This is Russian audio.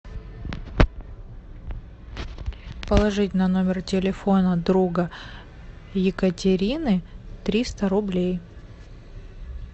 положить на номер телефона друга екатерины триста рублей